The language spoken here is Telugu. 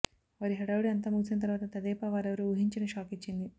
వారి హడావుడి అంతా ముగిసిన తరువాత తెదేపా వారెవరూ ఊహించని షాక్ ఇచ్చింది